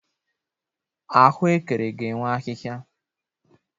Ahụekere ga-enwe ahịhịa